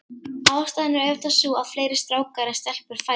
Ástæðan er auðvitað sú, að fleiri strákar en stelpur fæðast.